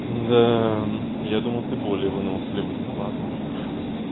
да я думал ты более выносливый ну ладно